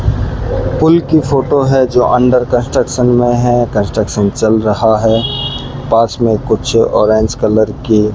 पुल की फोटो है जो अंडर कंस्ट्रक्शन में है कंस्ट्रक्शन चल रहा है पास में कुछ ऑरेंज कलर की --